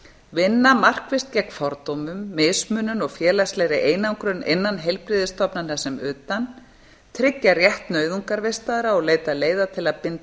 vinna markvisst gegn fordómum mismunun og félagslegri einangrun innan heilbrigðisstofnana sem utan tryggja rétt nauðungarvistaðra og leita leiða til að binda